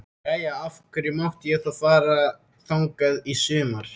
Jæja, af hverju mátti ég þá fara þangað í sumar?